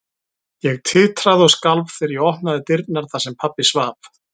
Ég titraði og skalf þegar ég opnaði dyrnar þar sem pabbi svaf.